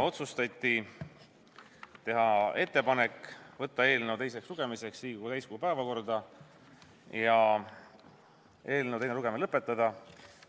Otsustati teha ettepanek võtta eelnõu teiseks lugemiseks Riigikogu täiskogu päevakorda, eelnõu teine lugemine lõpetada